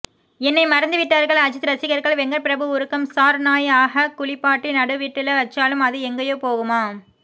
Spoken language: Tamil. என்னை மறந்துவிட்டார்கள் அஜித் ரசிகர்கள் வெங்கட்பிரபு உருக்கம் சார் நாய் அஹ குளிப்பாட்டி நடுவிட்டுல வச்சாலும் அது எங்கையோ போகுமா